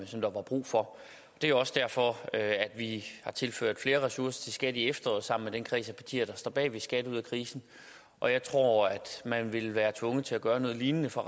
som der var brug for det er også derfor at vi har tilført flere ressourcer til skat i efteråret sammen med den kreds af partier der står bag ved skat ud af krisen og jeg tror at man vil være tvunget til at gøre noget lignende for